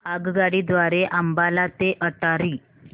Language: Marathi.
आगगाडी द्वारे अंबाला ते अटारी